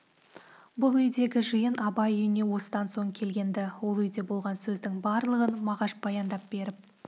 бұл үйдегі жиын абай үйіне осыдан соң келген-ді ол үйде болған сөздің барлығын мағаш баяндап беріп